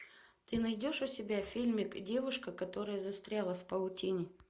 ты найдешь у себя фильмик девушка которая застряла в паутине